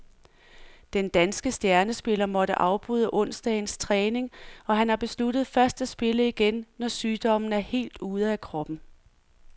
Den danske stjernespiller måtte afbryde onsdagens træning, og han har besluttet først at spille igen, når sygdommen er helt ude af kroppen.